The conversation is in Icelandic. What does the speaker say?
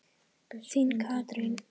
Þín Katrín.